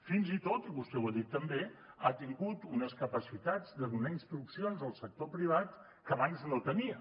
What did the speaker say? fins i tot vostè ho ha dit també ha tingut unes capacitats de donar instruccions al sector privat que abans no tenia